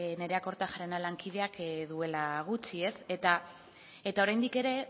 nerea kortajarena lankideak duela gutxi eta oraindik ere